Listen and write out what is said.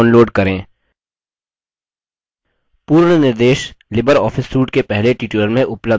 पूर्ण निर्देश LibreOffice suite के पहले tutorial में उपलब्ध हैं